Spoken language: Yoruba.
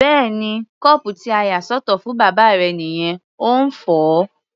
Bẹ́ẹ̀ni, kọ́ọ̀pù tí a yà sọ́tọ̀ fún bàbá rẹ nìyẹn, ó ń fọ̀ ọ́.